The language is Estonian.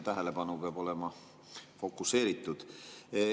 Tähelepanu peab olema fokuseeritud.